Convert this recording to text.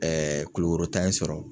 Kulukoro ta in sɔrɔ.